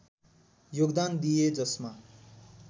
योगदान दिए जसमा